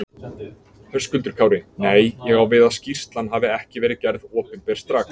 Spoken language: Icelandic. Höskuldur Kári: Nei, ég á við að skýrslan hafi ekki verið gerð opinber strax?